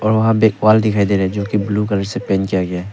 और वहां पे एक वॉल दिखाई दे रहा है जो की ब्लू कलर से पेंट किया गया है।